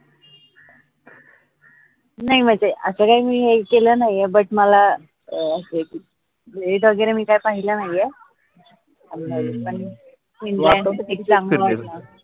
नाई म्हनजे असं काय हे केलं नाई ए but मला असय की rate वगैरे मी काय पाहिला नाईए